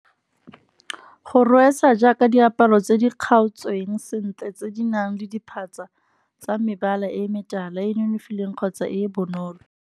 Go rwesa jaaka diaparo tse di kgaotsweng sentle, tse di nang le diphatsa tsa mebala e metala e e nonofileng kgotsa e e bonolo.